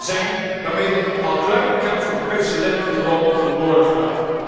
zijn, waarmee de al kleine kans op een Perzische lente voorlopig verloren gaat.